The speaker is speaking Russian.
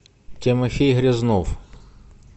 тимофей грязнов